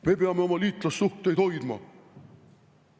"Me peame oma liitlassuhteid hoidma!